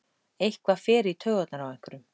Eitthvað fer í taugarnar á einhverjum